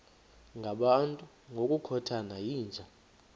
ngabantu ngokukhothana yinja